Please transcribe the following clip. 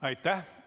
Aitäh!